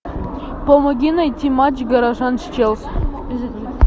помоги найти матч горожан с челси